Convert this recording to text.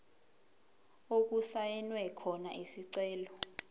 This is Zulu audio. okusayinwe khona isicelo